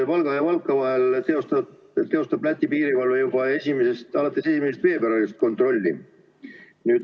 Valga ja Valka vahel teostab Läti piirivalve juba 1. veebruarist kontrolli.